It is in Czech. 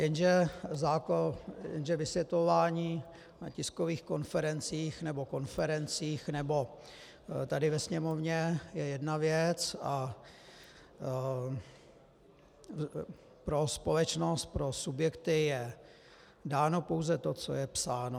Jenže vysvětlování na tiskových konferencích nebo konferencích nebo tady ve Sněmovně je jedna věc a pro společnost, pro subjekty je dáno pouze to, co je psáno.